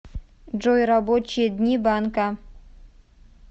джой рабочие дни банка